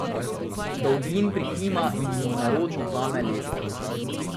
Dolgin prikima in mu nerodno vzame lestev.